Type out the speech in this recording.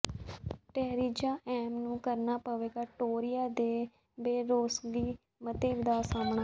Theresa May ਨੂੰ ਕਰਨਾ ਪਵੇਗਾ ਟੋਰੀਆਂ ਦੇ ਬੇਭਰੋਸਗੀ ਮਤੇ ਦਾ ਸਾਹਮਣਾ